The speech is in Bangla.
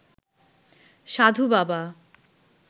সাধু বাবা